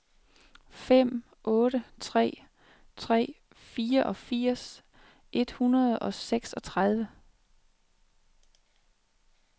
fem otte tre tre fireogfirs et hundrede og seksogtredive